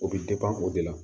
O bɛ o de la